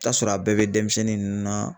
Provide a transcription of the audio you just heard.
I bi t'a sɔrɔ a bɛɛ bɛ denmisɛnnin ninnu na